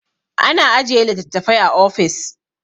ana ajiye litattafai a ofis